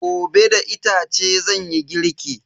Gobe da itace zanyi girki.